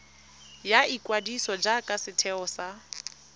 ya ikwadiso jaaka setheo sa